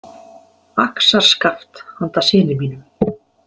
"Axarskaft handa syni mínum... """